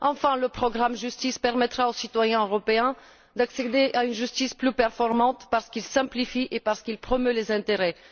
Enfin, le programme Justice permettra aux citoyens européens d'accéder à une justice plus performante parce qu'il simplifie les procédures et qu'il promeut leurs intérêts.